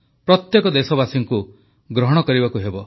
ପ୍ରତ୍ୟେକ ଦେଶବାସୀକୁ ଗ୍ରହଣ କରିବାକୁ ହେବ